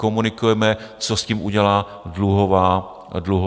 Komunikujeme, co s tím udělá dluhová služba.